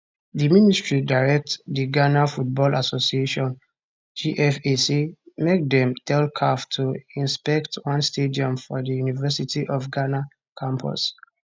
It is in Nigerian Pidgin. di ministry direct di ghana football association gfa say make dem tell caf to inspect one stadium for di university of ghana campus